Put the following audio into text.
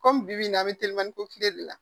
kɔmi bi in na a be telimani ko kile de la